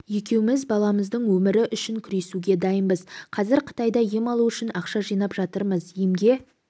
екеуміз баламыздың өмірі үшін күресуге дайынбыз қазір қытайда ем алу үшін ақша жинап жатырмыз емге